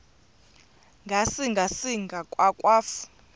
ngasinga singa akwafu